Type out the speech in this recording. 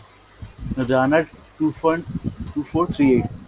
two point two four three eight।